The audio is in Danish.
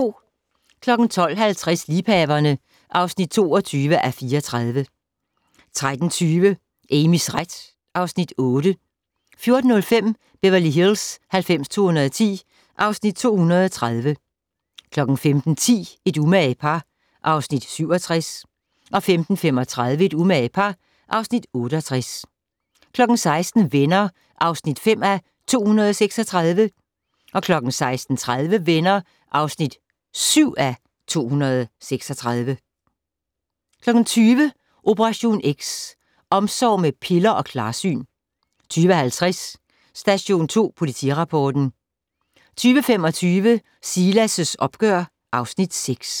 12:50: Liebhaverne (22:34) 13:20: Amys ret (Afs. 8) 14:05: Beverly Hills 90210 (Afs. 230) 15:10: Et umage par (Afs. 67) 15:35: Et umage par (Afs. 68) 16:00: Venner (5:236) 16:30: Venner (7:236) 20:00: Operation X: Omsorg med piller og klarsyn 20:50: Station 2 Politirapporten 21:25: Silas' opgør (Afs. 6)